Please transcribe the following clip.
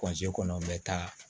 kɔnɔ n bɛ taa